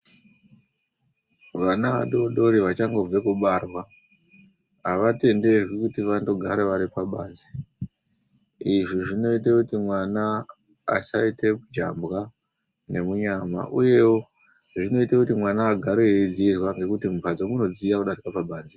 Vana vadodori vachangobva kubarwa ava tenderwi kuti vatogare vari pabanze .Izvo zvinoita kuti mwana asaita jambwa nemunyama uyewo zvinoita kuti mwana agare edziirwa nekuti mumbatso munodziya kudarika pabanze .